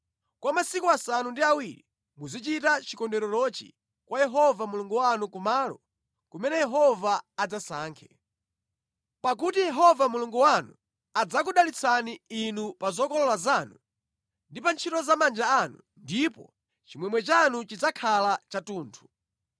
Kwa masiku asanu ndi awiri muzichita chikondwererochi kwa Yehova Mulungu wanu kumalo kumene Yehova adzasankhe. Pakuti Yehova Mulungu wanu adzakudalitsani inu pa zokolola zanu ndi pa ntchito za manja anu, ndipo chimwemwe chanu chidzakhala chathunthu.